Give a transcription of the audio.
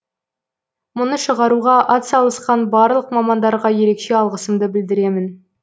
мұны шығаруға атсалысқан барлық мамандарға ерекше алғысымды білдіремін